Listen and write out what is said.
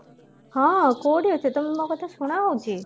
ହଁ କଉଠି ଅଛ ତମକୁ ମୋ କଥା ଶୁଣା ହଉଚି